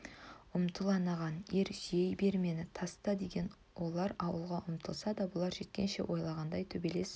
ұмтыл анаған ер сүйей бер мені таста деген олар ауылға ұмтылса да бұлар жеткенше ойлағандай төбелес